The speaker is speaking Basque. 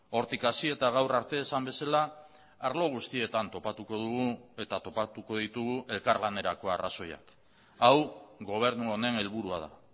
hortik hasi eta gaur arte esan bezala arlo guztietan topatuko dugu eta topatuko ditugu elkarlanerako arrazoiak hau gobernu honen helburua da